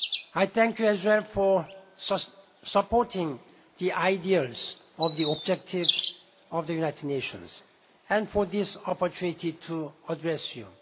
people. I thank you as well for supporting the ideals and objectives of the United Nations and for this opportunity to address